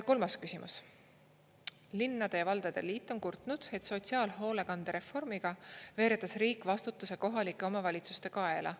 Kolmas küsimus: "Linnade ja valdade liit on kurtnud, et sotsiaalhoolekandereformiga veeredes riik vastutuse kohalike omavalitsuste kaela.